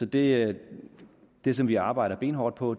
det det som vi arbejder benhårdt på